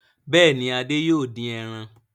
Bẹ́ẹ̀ ni, Adé yóò dín ẹran.